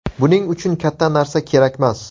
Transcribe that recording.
Buning uchun katta narsa kerakmas.